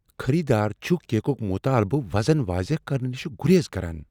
خریدار چھ کیکک مطالبعہ وزن واضح کرنہٕ نش گریز کران۔